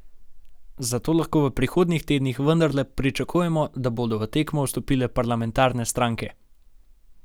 Zato lahko v prihodnjih tednih vendarle pričakujemo, da bodo v tekmo vstopile parlamentarne stranke.